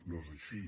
no és així